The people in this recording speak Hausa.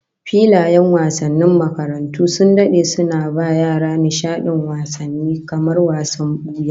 Filayen wasannin makarantu sun dade suna ba yara nishadin wasanni kamar wasan buya